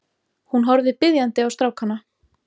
Hún horfði biðjandi á strákana.